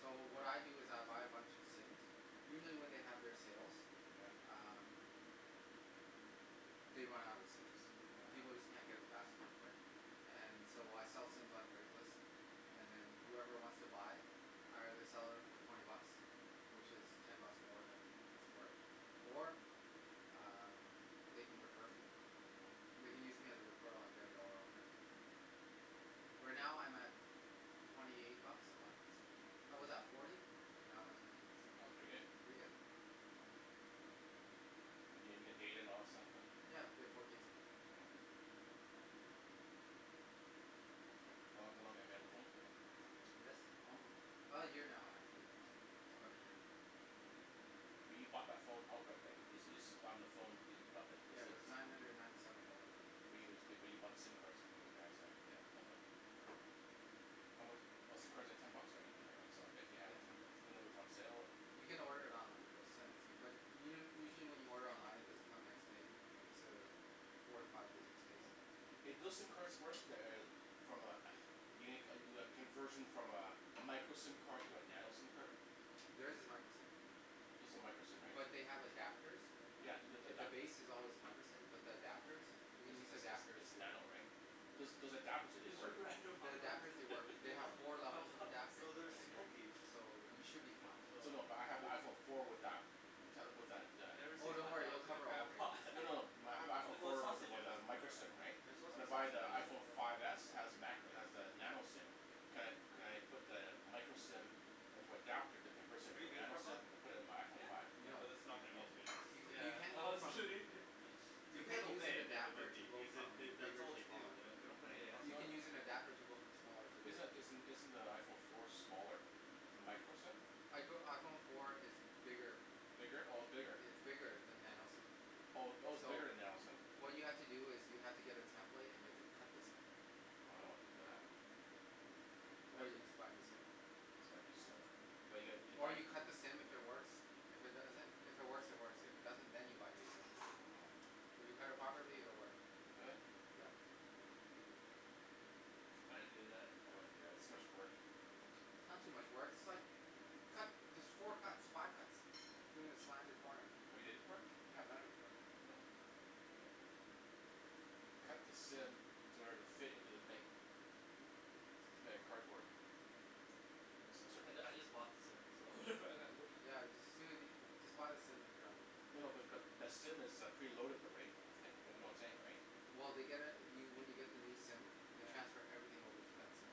So what I do is I buy a bunch of SIMs, usually when they have their sales, Yeah um They run out of SIMs, Oh people just yeah. can't get them fast enough And so I sell SIMs on Craigslist And then whoever wants to buy I either sell it for twenty bucks which is ten buck more than it's worth or um they can refer me. Hmm They can use me as a referral and I get a dollar off every month Right now I'm at twenty eight bucks a month, I was at forty but now I'm at twenty eight so, pretty good. And and you get data and all that stuff and? Yeah, I get four gigs now Hmm How how long have you had the phone for than? This um now actually, Hmm about a year But you bought that phone outright, right? You you supplied them the phone but you you bought the SIM Yeah it card. was nine hundred and ninety seven dollars at the time But but you bought the SIM cards from those guys right? Yeah How mu- , but SIM cards are ten bucks right. Yeah it's ten bucks When they were on sale. You can order it online they'll send it to you. But u- u- usually when you order online it doesn't come next day, it's a four to five business days. Yeah Hey do those SIM cards work, the eh, from a eh, you make you do a conversion from a micro SIM card to a nano SIM card? There's is micro SIM Those are micro SIM right? But they have adapters Yeah, they look like The that base is always micro SIM but the adapters, you can It's use the it's adapters it's here nano right? Those those adapters do they work? The adapters they work, they have Hmm? four levels of Ah. adapting No there's I think Okay. so you should be fine So no but I have iPhone four with that Never Oh seen don't worry they'll in a cover crab all ranges pot No no no, my I have No, iPhone they're four with with sausages, a micro they're SIM right, they're suppose to when be I buy the sausages IPhone five s it has macro, it has the nano SIM, can could I put the micro SIM into adapter that converts it Have into you a been to nano SIM and put it into my iPhone five? Yeah, No though this is not gonna be as No? good. You Yeah. you can't go I'm from, kidding you If we have can't a move an then it adapter would to be, go because they from that's that's bigger all they to do, smaller they don't put anything else You in can use an there. adapter to go from smaller to Is bigger isn't isn't the iPhone four smaller, it's micro SIM? I go iPhone four is bigger Bigger, oh it's bigger? It's bigger than nano SIM Oh oh its So bigger than nano SIM? what you have to do is you have to get a template and you have to cut the SIM I don't wanna do that. Or That'll you just buy a new SIM Just buy a new SIM But you gotta, you Or buy you cut the SIM if it works, if it doesn't if it works it works, if it doesn't then you buy a new SIM Oh If you cut it properly it will work Will it? I didn't do that. I wouldn't do that, it's too much work. It's not too much work, it's like you cut there's four cuts five cuts Hmm the corner Have you did it before? Yeah I've done it before Oh. Cut the SIM to order it to fit into the thing It's made out of cardboard. Some sort I of I just bought the SIM, so Yeah you ju- you No no but just but SIM is uh preloaded though right, that's the thing, you know what I'm saying right? Well they get uh you when you get the new SIM they transfer everything over to that SIM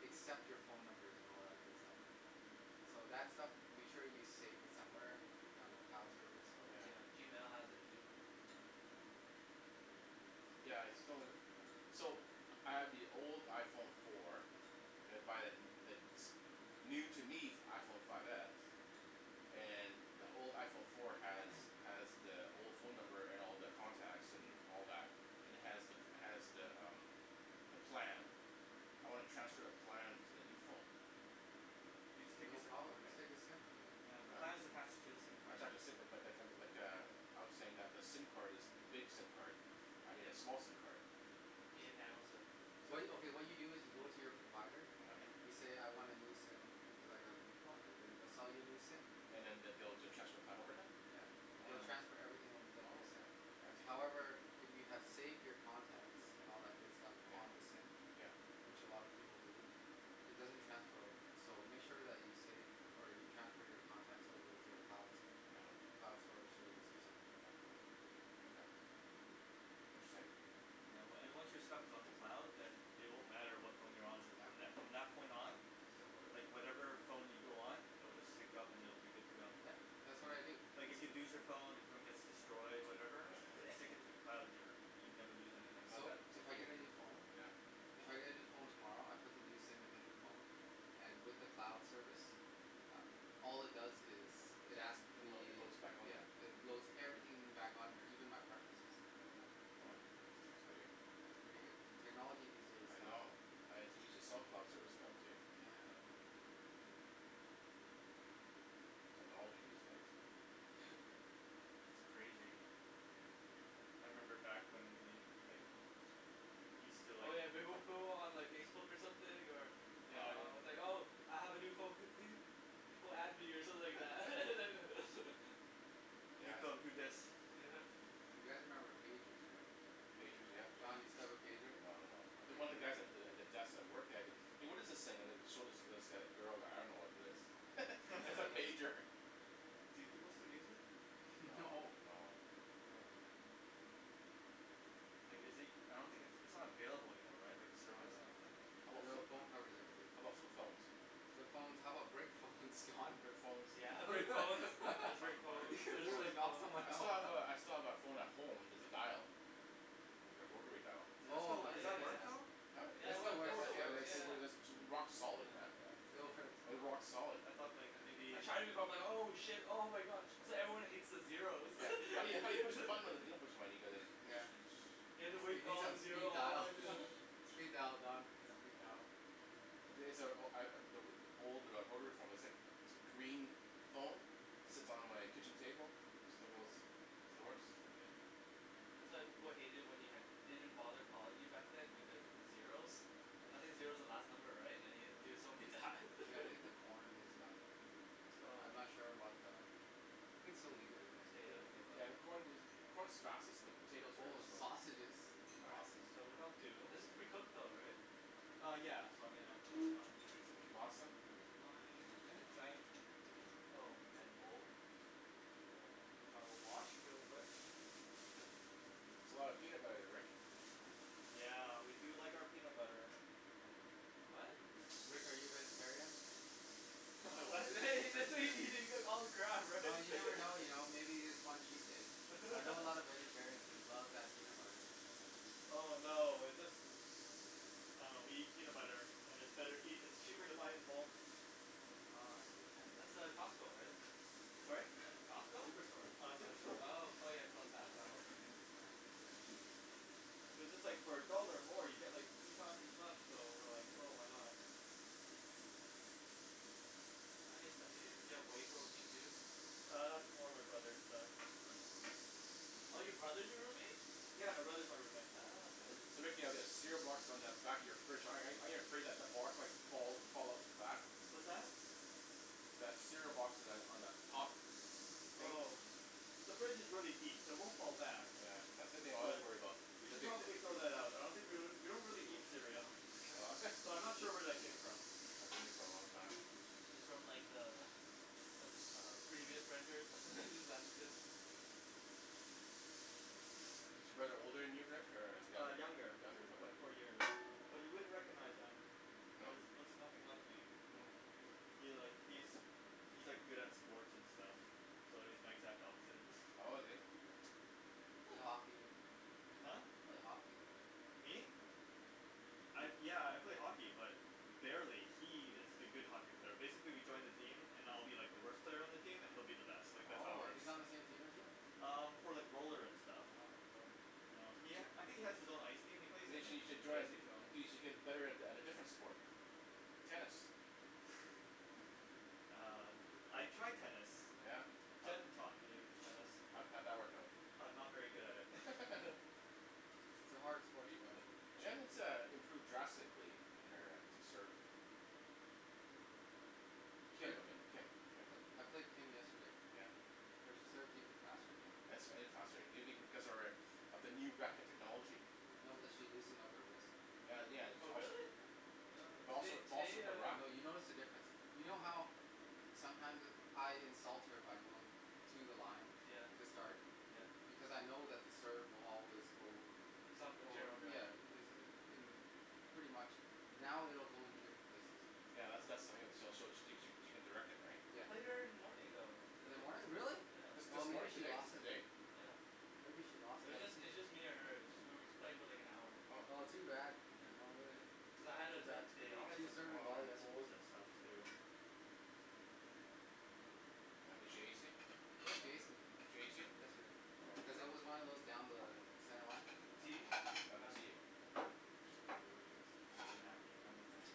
except your phone numbers and all that good stuff. So that stuff, make sure you save it somewhere if you're on a cloud service or Yeah, Yeah. Gmail has it too. Yeah, it's So, I have the old iPhone four and I buy the n- the new, to me, f- iPhone five s, and the old iPhone four has, has the old phone number and all the contacts and all that and has the, has the umm the plan. I wanna transfer the plan to the new phone. You just take your No SIM card, problem, just right? take the SIM yeah. Yeah, the plan is attached to the SIM I card. tried to [inaudible 0:30:35.01 - 0:30:35.49] but- but- lik- lik- like a, I was saying that the SIM card is big SIM card. I need a small SIM card. You need nano SIM. What you, okay, what you do is you go to your provider. Mhmm. You say, "I want a new SIM because I got a new phone" and then they'll sell you a new SIM. And then they'll be able to transfer plan over then? Yeah. They will Oh. transfer everything over to that Oh new SIM. okay. Yeah, that's easy. However, if you have saved your contacts and all that good stuff Yeah. on the SIM, Yeah. which a lot of people do, it doesn't transfer over. So make sure that you save, or you transfer your contacts over to a cloud, cloud store service or something like that. Okay Interesting. Yeah, wa- and once your stuff is on the cloud, then it won't matter what phone you're on with, from Yeah. that, from that point on Just download it. like whatever phone you go on it'll just sync up and it'll be good to go. Yep. That's what I do. Like if you lose your phone, your phone gets destroyed, whatever. Sync it to the cloud and you're, you'd never lose anything. So, if I get a new phone Yeah. If I get a new phone tomorrow, I put the new SIM in the new phone, and with the cloud service, uh all it does is, it asks It load, me, it loads back on yeah, there. it loads everything back on here, even my preferences. Uh. Oh. That's pretty good. Yeah, it's pretty good. Technology these days, I Don. know. I have to use a self-cloud service stuff, too. Yeah. Technology these days. It's crazy. I remember back when we, like, we still Oh like yeah, they will put it on like Facebook something or Yeah. uh, it's like, "Oh I have a new phone pe- pe- people add me" or something like that. New Yeah. phone You guys remember pagers right? Pagers, yeah. Don, you still have a pager? No. Okay, One of good. the guys at the, at the desk I worked at it, "Hey, what is this thing?" and then it showed it to this g- girl, like, "I don't know what it is." It's a pager. Do people still use it? No, No. no. No, no. Like is it, I don't think its, it's not available anymore, right? Like No, no, no, no. service, I don't Your think? phone covers everything. How about flip phones? Flip phones. How about brick phones, Don? Brick phones. You're Brick phones and Soccer flip player phones. They're just, gonna like, knock phones. someone I still have out. a, I still have that phone at home that's dial. Oh So, my Ai does ya that goodness, work ya. man. though? It still [inaudible works, it still works. 0:32:42.56 - 0:32:43.83] rock solid man. Yeah, still works. Uh, rock solid. I thought like, maybe I tried it before. I'm like, "Oh shit, oh my god. That's why everyone hates the zeros." Yeah. How you, how you push the button? Like, you don't push the button, you go like this. Yeah. You need some speed dial. Speed dial Don, speed dial. Yeah. [inaudible 0:32.59.28 - 0:33:00.74] old uh rotary phone. It's like, it's a green phone, sits on my kitchen table. Still goes, still works. Yeah. That's why people hated it when you had- didn't bother calling you back then because of the zeros. I think Mm. zero's the last number, right? And you have to do it so many times. Hey, I think the corn is done. But I'm not Oh. sure about the We can still leave it in there, Potato. Yeah, the right? corn i- the corn's fastest, the potatoes are Oh the slowest. sausages. All right. Awesome. So what I'll do This is pretty cooked though, right? Uh yeah. So I mean that, that's fine. pasta? Where's my, I had a giant, oh. Giant bowl? Bowl, which I will wash real quick. That's a lot of peanut butter, Rick. Yeah, we do like our peanut butter. What? Rick, are you a vegetarian? Am I what? He just said he, he's gonna eat all the crab, right? Well, you never know you know. Maybe you just want cheat days. I know a lot of vegetarians, they love that peanut butter. Oh no, it's just, uh, we eat peanut butter, and it's better eat- and it's cheaper to buy it in bulk. Oh I see. That's uh, Costco, right? Sorry? It's Costco? Superstore. Uh, Superstore. Oh [inaudible 0:34:06.91 - Yellow. 0:34:08.08] So just like for a dollar more, you get, like, three times as much, so we're like, "Oh, why not." You have whey protein too? Uh, that's more my brother's stuff. Oh your brother's your roommate? Yeah. My brother's my roommate. Oh, okay. So Rick, you have that cereal box on the back of your fridge. ar- aren't you afraid that the box might fall, fall off the back? What's that? That cereal box on that, on the top. Oh. The fridge is really deep, so it won't fall back. Yeah. That's the thing I always worry about. We should probably throw that out. I don't think we l- we don't really eat cereal. Oh So, I'm not sure where that came from. It's from like the, the- uh previous renters who just left it. Is your brother older than you, Rick, or, uh Uh, younger? younger, Younger by brother. four year. But you wouldn't recognize him. He No? looks, looks nothing like me. He like, he's, he's like good at sports and stuff. So he's my exact opposite. Oh, is he? You play hockey. Huh? You play hockey though. Me? I, yeah, I play hockey but barely, He is the good hockey player. Basically, we joined a team, and I'll be like the worst player on the team and he'll be uh-huh. the best. Like that's how it Oh, works. he's on the same team as you? Um, for like roller and stuff. Oh, bro. Um, he ha- I think he has his own ice team. He plays in you it. should join a, y- y- you should get better at, at a different sport. Tennis. Uh. I tried tennis. Yeah? How'd Jenn taught me tennis. How'd, how'd that work out? I'm not very good at it. It's a hard sport to learn. Jenn has, uh, improved drastically in her, uh, serve. Played, I played, I played Kim yesterday. Yeah? Her serve's even faster now. faster maybe because of her, uh, of the new racket technology. No, cuz she loosened up her wrist. Well, yeah. It's Oh also really? It also, Today, it's also today her uh No, racket. you notice the difference. You know how sometimes I insult her by going to the line, Yeah. to start Yeah. because I know that the serve will always go, Some in well general yeah, direction. is uh. Pretty much. Now it will go in different places. Yeah, that's, that's so she'll, she cou- she she can direct it, right? I Yeah. played her in the morning though. In the morning? Really? This, Yeah. Oh, this maybe morning? she Today, t- lost it today? then. Yeah. Maybe she lost It was it. just, it was just me and her. Just we were just playing for, like, an hour. Oh. Oh too bad. You know. Yeah I had Too to bad. the day off. She was some serving Wow. well yesterday. bowls and stuff too. Oh, did she ace you? Yeah, she No. aced me. She ace you? Yesterday. Here you Cuz Oh. go. it was one of those down the center line. T? Oh no. Down the Down T. T. Was an kinda thing.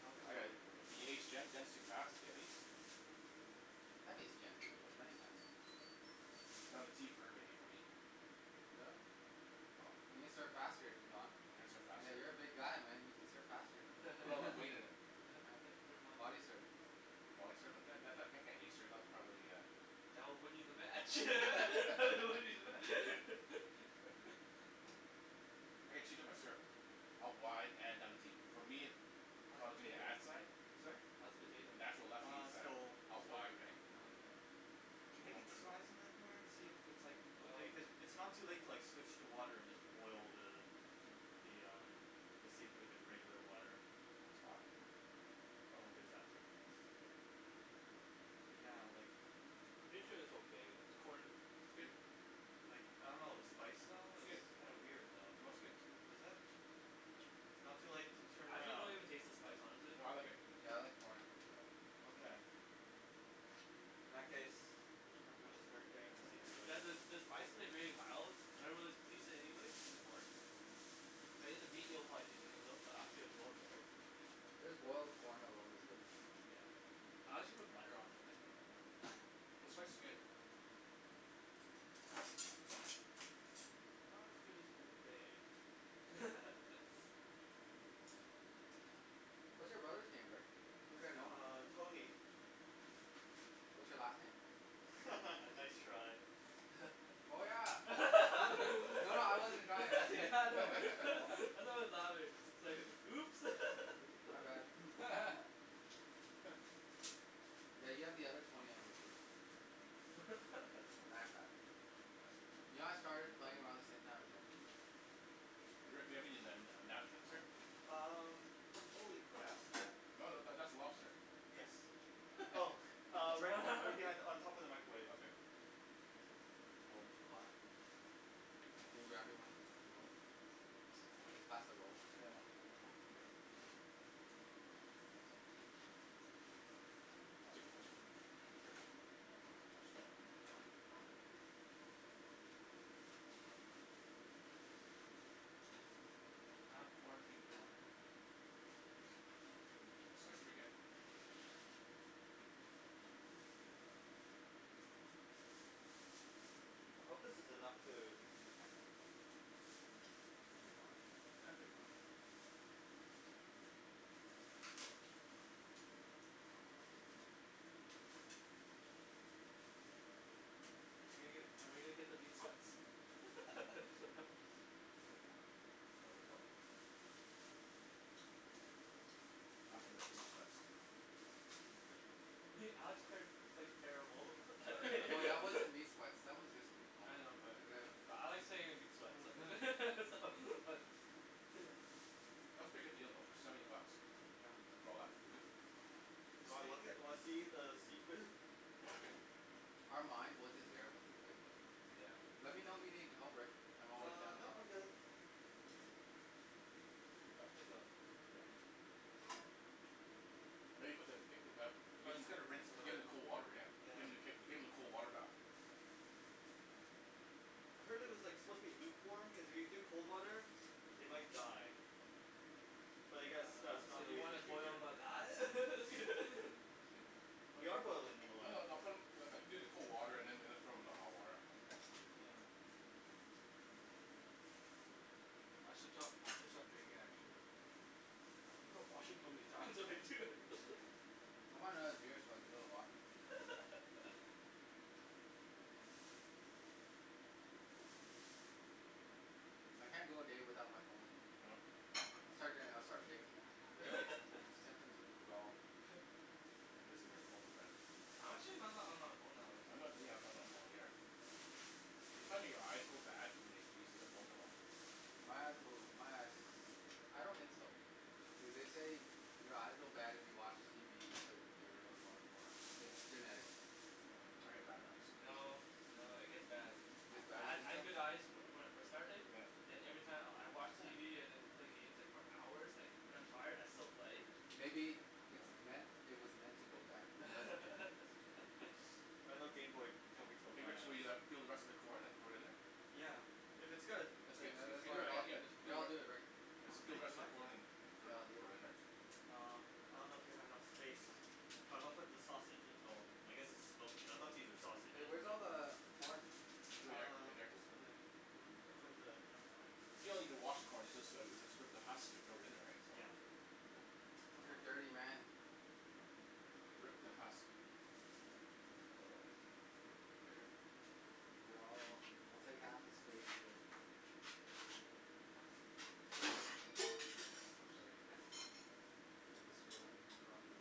I don't think you I are got it. letting He aced Jenn? Jenn's too fast to get aced. Have aced Jenn before. Many times. Got a T for her maybe for me. Really? Oh. You can serve faster Don? I can serve faster. Yeah. You're a big guy, man. You can serve faster. Put all that weight in it. Yeah, Yeah. pretty much. Body serve Body serve on Jenn that that that can't ace her, that'll probably a That will win you the match. I can cheat on my serve. a wide and for me, How's the from doing the potato? ad side? Sorry? How's the potato? Natural left field Uh, side. still, Out still wide cooking. right? Oh okay. Okay, now Maybe this one? try some of the corn, and see if it's, like, okay, cuz it's not too late to, like, switch to water and just boil the, the um, the seafood in regular water. Oh, it's hot. Oh, there's that too. Yeah, like Pretty sure it's okay. Corn. Like, I don't know. The spice, though, It's good. it's kinda weird, though. No., it's good. Is it? It's not too late to turn I actually don't around. even taste the spice honestly. No, I like it. Yeah, I like corn. Okay. In that case, I'm gonna start getting the seafood You ready. guys uh, the spice is like really mild. I don't really taste it anyways in the corn. But in the meat you'll probably taste it cuz it'll, it'll, right? Just boiled corn alone is good. Yeah. I actually put butter on it. Like some butter in there. The spice is good. Not as good as Old Bay. What's your brother's name, Rick? Maybe I know him. Uh, Tony. What's your last name? Nice try. Oh yeah. No. No, no, I wasn't trying Yeah, I know. I know it's louder. It's like, "Oops." My bad. Yeah, you have the other Tony on your team. That guy. You know I started playing around the same time as him? Rick, do you have any nan- uh napkins here? Um. Holy crap. No, that, that's a lobster. Yes. Oh uh, right b- right behind, on top of the microwave. Okay. Oh, too hot Can you grab me one Will you pass the roll? Yeah. I'll take the first one. Sure. Touch that. I have corn teeth now. The spice is pretty good. I hope this is enough food. Should be fine. Yeah should be fine. Are we gonna, are we gonna get the meat sweats? Good. Control yourself. some of them meat sweats. Alex qu- quite- terrible at No, that wasn't meat sweats. That was just food coma. I know but, but I like saying meat sweats so so but Yeah. That's a pretty good deal though, for seventy bucks. Yeah. For all that food? Yeah. Do you want Steak. look at, you wanna see the seafood? Okay. Our mind wasn't there when we played though. Yeah. Let me know if you need help, Rick. I'm always down Uh, to no, help I'm you. good. Can you pass me the Yeah. Maybe put the give them, I was just gonna rinse 'em a give bit. them the cold water, yeah. Yeah. Give them the k- give them the cold water bath. I heard it was, like, supposed to be lukewarm because if you do cold water, they might die. But I guess that's So not you really an wanna issue boil here. 'em alive? We are boilding them No, alive. no, no, put 'em, no, like, do the cold water and then, then throw them in the hot water. Yeah. I should stop, I should stop drinking actually. I washroom so many times already too. I want another beer so I can go to the washroom. I can't go a day without my phone. No? No. I'll start doing, I start shaking. Really? Yeah. Symptoms of withdrawal. You guys and your phones, man. I'm actually not that on my phone all I'm the time. not really, yeah, I'm not on my phone either. Do you find that your eyes go bad when you're using your phone that long? My eyes go, my eyes. I don't think so. Yeah, they say your eyes go bad if you watch TV, you play the computer, or you go on your phone. It's genetics. Oh, I get bad eyes. No, no. It gets bad. It I, gets I bad? You ha- I think so? had good eyes from, when I first started, Yeah. then every time I'll, I watch TV and then play games, like, for hours, like, when I'm tired I still play. Maybe, it's No. meant, it was meant to go bad because of genetics. I know gameboy Hey, probably killed hey my Rick, so eyes. we uh peel the rest of the corn and throw it in there? Yeah. If it's good, No, no, that's then good. all right. I get- no, I'll do it Rick. Just Okay. peel the Do rest you of mind? the corn and, and throw it, Here, I'll do it. throw it in there. Um. I don't know if you have enough space. It's fine. But I'm gonna put the sausage- well, I guess its smokies, I thought these were Hey, sausages, where's all but the corn? Over there, Uh, right there. just in there. Watch out for the camera. You don't even wash the corn. You just go, you just rip the husk and throw it in there, right? So. Yeah. You're a Uh. dirty man. Rip the husk. Here, I'll, I'll take half the space, Rick. Sorry. You okay? I'm destroying property.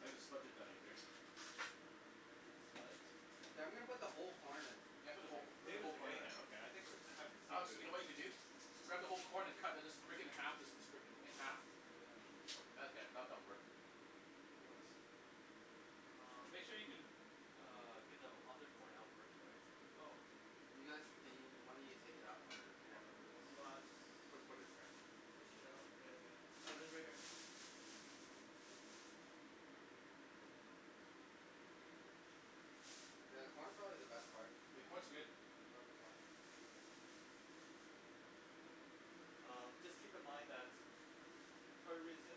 I think the spuds are done What? Hey, I'm gonna put the whole corn in. Yeah, put the whole co- put the whole Potatoes are corn in. getting there, okay. I think we're, it's time for the Alex, seafood. you know what you can do? Grab the whole corn and cut and just break it in half and just sp- split it in half. Oh yeah. That'll get, that, that'll work. Nice. And Um. make sure you can uh get the other corn out first, right? Oh. You guys, can y- one of you take it out while I do this? Put, put it there. Fish it out with Oh right here. Yeah, the corn's probably the best part. The corn's good. I love the corn. Um, just keep in mind that Part of the reason,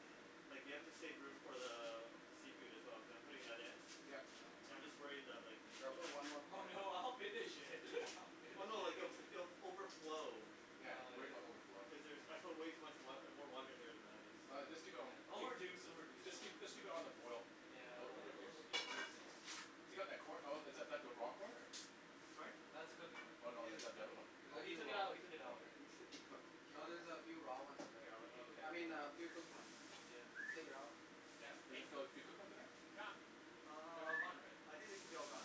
like we have to save room for the, the seafood as well cuz I'm putting that in. Yeah. Yeah, I'm just worried that like Yo, I'll put one more Oh corn in. no, I'll finish it. I'll finish Oh no. Like if, it. it'll f- overflow. Yeah, he's worried about overflowing. Cuz there's, I put way too much wa- uh, more water in here than I was All right, just keep it on the It'll b- reduce, keep, it'll reduce. just Don't worry. keep, just keep it on the boil. Yeah. It'll, It'll, will it'll, reduce. it'll, it'll keep reducing. Oh. If you got that corn, oh is that, that the raw corn or? Sorry? That's a cooked corn. Oh no, It is the oth- the other one. cooked. Oh. No, he took it out. He took it Oh out. okay. It should be cooked. No, there's a few raw ones in there. Here, I'll let Oh okay, you I mean, a cool. few cooked ones. Yeah. Take it out. Yeah. Does it feel like few cooked ones in there? They're Um, all gone, right? I think it should be all gone.